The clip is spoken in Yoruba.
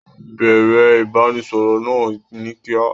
Bẹ̀ẹ̀rẹ̀ ìbánisọọ̀rọ̀ náà ni kíá.